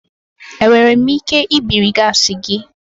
Enwere m ike ibiri gaasi gị?